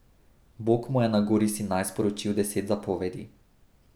Bog mu je na gori Sinaj sporočil deset zapovedi.